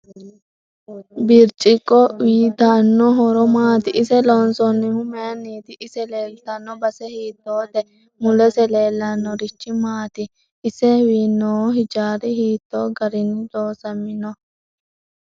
Birciqqo uyiitanno horo maati ise loonsoonohu mayiiniiti ise leeltanno base hiitoote mulese leelanorichi maati isw noo hijaari hiitoo garinni loosaminoho